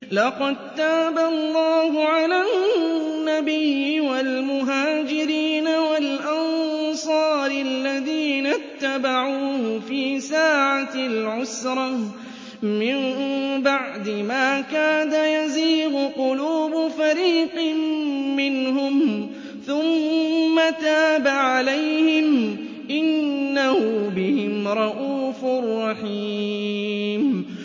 لَّقَد تَّابَ اللَّهُ عَلَى النَّبِيِّ وَالْمُهَاجِرِينَ وَالْأَنصَارِ الَّذِينَ اتَّبَعُوهُ فِي سَاعَةِ الْعُسْرَةِ مِن بَعْدِ مَا كَادَ يَزِيغُ قُلُوبُ فَرِيقٍ مِّنْهُمْ ثُمَّ تَابَ عَلَيْهِمْ ۚ إِنَّهُ بِهِمْ رَءُوفٌ رَّحِيمٌ